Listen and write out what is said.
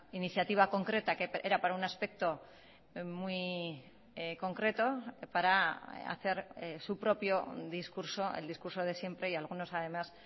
iniciativa concreta que era para un aspecto muy concreto para hacer su propio discurso el discurso de siempre y algunos además